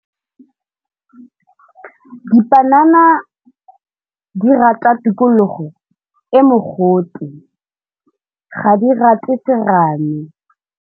Dipanana di rata tikologo e mogote, ga di rate serame.